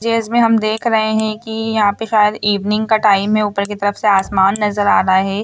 ये इसमे हम देख रहे है की यहां पर शायद इवनिंग का टाइम है ऊपर की तरफ से आसमान नजर आ रहा है।